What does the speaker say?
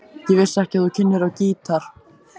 Ég vissi ekki að þú kynnir á gítar.